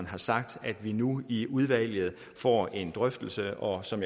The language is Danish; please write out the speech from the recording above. har sagt at vi nu i udvalget får en drøftelse og som